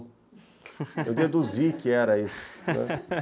Eu deduzi que era né